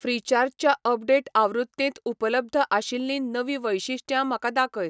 फ्रिचार्ज च्या अपडेट आवृत्तींत उपलब्ध आशिल्लीं नवीं वैशिश्ट्यां म्हाका दाखय!